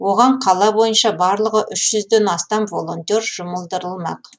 оған қала бойынша барлығы үш жүзден астам волонтер жұмылдырылмақ